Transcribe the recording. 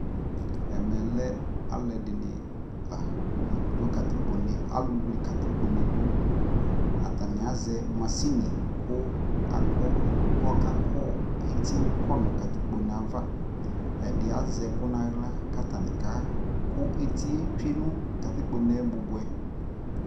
ɛmɛ alʋɛdini la dʋ katikpɔ nɛ ,alʋ wlɛ katikpɔ nɛ dʋ, atani azɛ mashini kʋ akɔ, kʋ ɔkakɔ ɛti twɛ nʋkatikpɔ nɛ aɣa, ɛdi azɛ ɛkʋ nʋ ala kʋ atani kakʋ ɛtiɛ twɛnʋ katikpɔ nɛ bʋbʋɛ